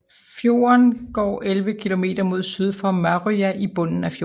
Fjorden går 11 km mod syd til Marøya i bunden af fjorden